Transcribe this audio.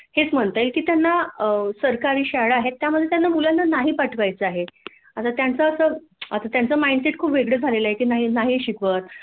हेच म्हणता येईल की त्यांना सरकारी शाळा आहे त्यामध्ये मुलांना त्यांना नाही पाठवायचं आहे आता त्यांचा असं आता त्यांचा माईंडसेट खूप वेगळा झालेला आहे नाही नाही शिकवत